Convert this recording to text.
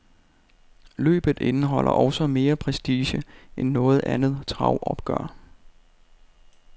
Løbet indeholder også mere prestige end noget andet travopgør.